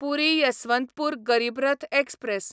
पुरी Yesvantpur Garib Rath express